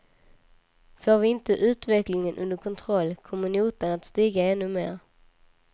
Får vi inte utvecklingen under kontroll kommer notan att stiga än mer.